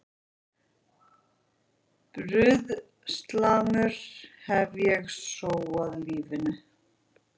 Bruðlsamur hef ég sóað lífinu.